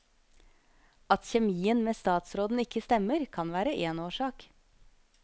At kjemien med statsråden ikke stemmer, kan være én årsak.